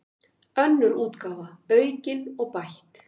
Önnur útgáfa, aukin og bætt.